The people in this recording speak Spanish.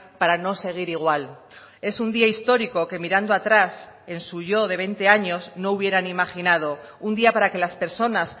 para no seguir igual es un día histórico que mirando atrás en su yo de veinte años no hubieran imaginado un día para que las personas